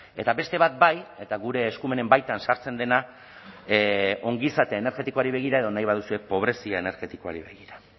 eta beste bat bai eta gure eskumenen baitan sartzen dena ongizate energetikoari begira edo nahi baduzue pobrezia energetikoari begira